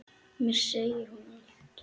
Mér segir hún allt